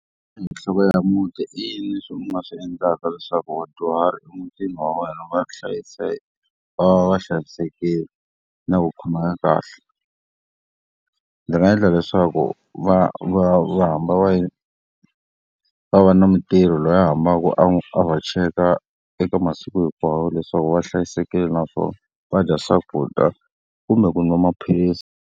Nhloko ya muti i yini leswi u nga swi endlaka leswaku vadyuhari emitini wa wena va hlayiseka, va va va hlayisekile, na ku khomeka kahle? Ndzi nga endla leswaku va va va hamba va va va na mutirhi loyi a hambaka a va cheka eka masiku hinkwawo leswaku va hlayisekile, naswona va dya swakudya kumbe ku nwa maphilisi.